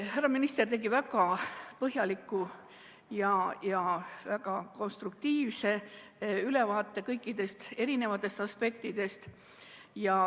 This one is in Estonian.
Härra minister tegi väga põhjaliku ja konstruktiivse ülevaate kõikidest aspektidest.